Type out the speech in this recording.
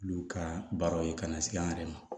Olu ka baaraw ye ka na se an yɛrɛ ma